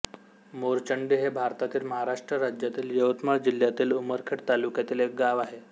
मोरचंडी हे भारतातील महाराष्ट्र राज्यातील यवतमाळ जिल्ह्यातील उमरखेड तालुक्यातील एक गाव आहे